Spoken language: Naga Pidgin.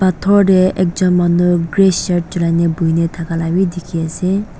dhur teh ekjun manu grey shirt chulia na buhi thaka bi dikhi ase.